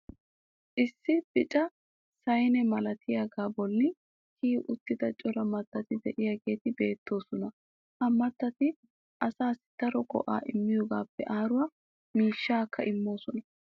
issi bicca saynne malattiyaagaa boli kiyi uttida cora mattati diyaageeti beetoosona. ha mattati asaassi daro go'aa immiyoogaappe aaruwa miishshaakka immoosona.